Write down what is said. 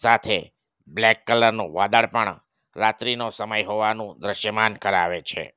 સાથે બ્લેક કલરનું વાદળ પણ રાત્રીનો સમય હોવાનું દ્રશ્યમાન કરાવે છે.